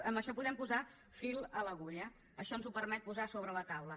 amb això podem posar fil a l’agulla això ens ho permet posar sobre la taula